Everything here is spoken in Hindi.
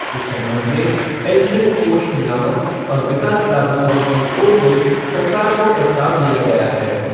इस संबंध में पेंशन कोष नियामक और विकास प्राधिकरण की ओर से सरकार को प्रस्ताव दिया गया है।